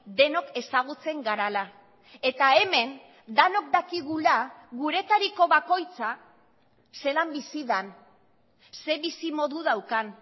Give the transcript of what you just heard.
denok ezagutzen garela eta hemen denok dakigula guretariko bakoitza zelan bizi den ze bizi modu daukan